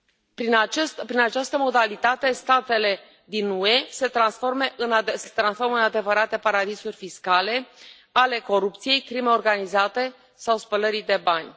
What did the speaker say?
Prin această modalitate, statele din UE se transformă în adevărate paradisuri fiscale ale corupției, crimei organizate sau spălării de bani.